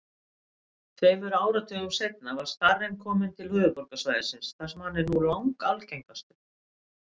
Tveimur áratugum seinna var starinn kominn til höfuðborgarsvæðisins þar sem hann er nú langalgengastur.